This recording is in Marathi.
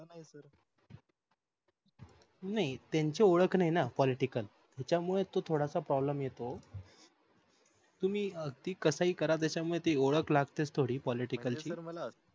नाही त्यंची वोळख नाही political त्याच्या मुले तो थोडस problem येत तुम्ही ते कसाही करा त्याच्यामुळे ती ओळख लाक्ते political ची